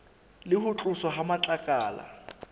le ho tloswa ha matlakala